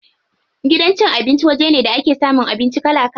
Gidan cin abinci waje ne da ake samun abinci kala kala.